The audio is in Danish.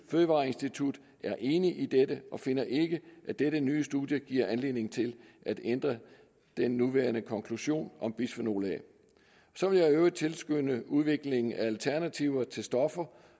fødevareinstituttet er enig i dette og finder ikke at dette nye studie giver anledning til at ændre den nuværende konklusion om bisfenol a så vil jeg i øvrigt tilskynde til udvikling af alternativer til stoffer